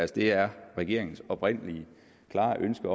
det er regeringens oprindelige og klare ønske